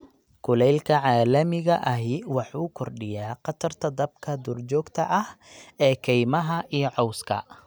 Kulaylka caalamiga ahi waxa uu kordhiyaa khatarta dabka duurjoogta ah ee kaymaha iyo cawska.